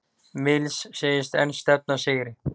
Mills segist enn stefna að sigri